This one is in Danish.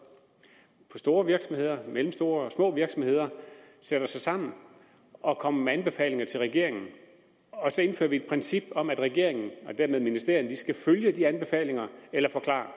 fra store virksomheder mellemstore og små virksomheder sætter sig sammen og kommer med anbefalinger til regeringen og så indfører vi et princip om at regeringen og dermed ministerierne skal følge de anbefalinger eller forklare